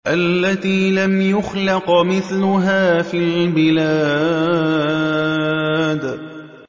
الَّتِي لَمْ يُخْلَقْ مِثْلُهَا فِي الْبِلَادِ